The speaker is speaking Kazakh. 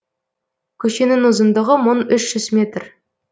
көшенің ұзындығы мың үш жүз метр